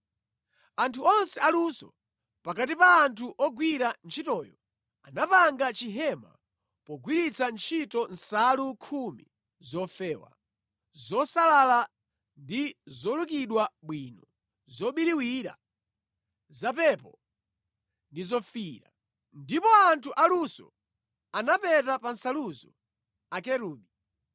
Anthu onse aluso pakati pa anthu ogwira ntchitoyo anapanga chihema pogwiritsa ntchito nsalu khumi zofewa, zosalala ndi zolukidwa bwino, zobiriwira, zapepo ndi zofiira. Ndipo anthu aluso anapeta pa nsaluzo Akerubi.